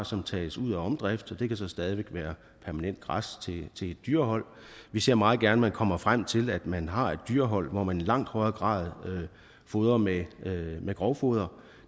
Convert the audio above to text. som tages ud af omdrift og det kan så stadig væk være permanent græs til dyrehold vi ser meget gerne at man kommer frem til at man har et dyrehold hvor man i langt højere grad fodrer med med grovfoder